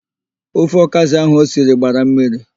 Ofe ọkazị ahụ osiri gbara mmiri.